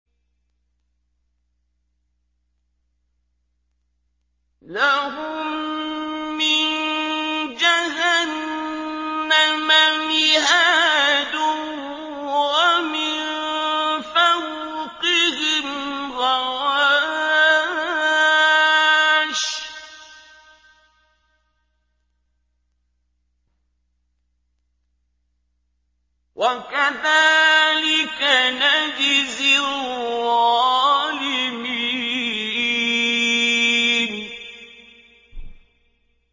لَهُم مِّن جَهَنَّمَ مِهَادٌ وَمِن فَوْقِهِمْ غَوَاشٍ ۚ وَكَذَٰلِكَ نَجْزِي الظَّالِمِينَ